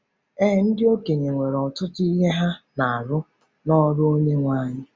Ee, ndị okenye nwere “ọtụtụ ihe ha na-arụ n’ọrụ Onyenwe anyị .”